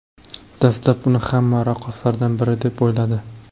Dastlab, uni hamma raqqoslardan biri deb o‘yladi.